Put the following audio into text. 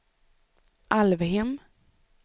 Alvhem